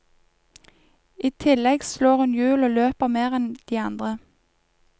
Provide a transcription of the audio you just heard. I tillegg slår hun hjul og løper mer enn de andre.